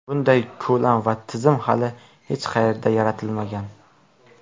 Bunday ko‘lam va tizim hali hech qayerda yaratilmagan.